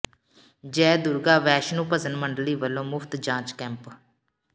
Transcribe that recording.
ਜੈ ਦੁਰਗਾ ਵੈਸ਼ਨੂੰ ਭਜਨ ਮੰਡਲੀ ਵੱਲੋਂ ਮੁਫ਼ਤ ਜਾਂਚ ਕੈਂਪ